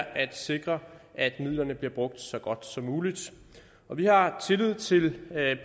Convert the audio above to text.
at sikre at midlerne bliver brugt så godt som muligt vi har tillid til